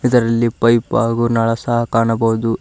ಇದರಲ್ಲಿ ಪೈಪ್ ಹಾಗು ನಳ ಸಹ ಕಾಣಬಹುದು.